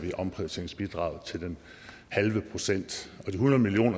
omprioriteringsbidraget til den halve procent de hundrede million